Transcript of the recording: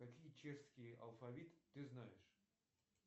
какие чешские алфавит ты знаешь